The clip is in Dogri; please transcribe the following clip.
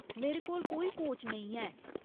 मेरे कोल कोई कोच नेईं ऐ।